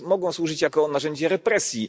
mogą służyć jako narzędzie represji.